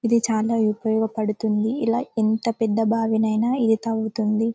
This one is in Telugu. ఇది చాలా ఉపయోగపడుతుంది ఇలా ఎంత పెద్ద బావినైనా ఇది తవ్వుతుంది.